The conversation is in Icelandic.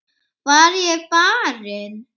Var ég barinn?